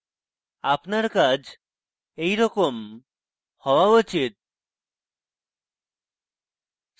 আপনার কাজ এইরকম হওয়া উচিত